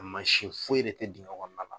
foyi de tɛ dingɛ kɔnɔna la.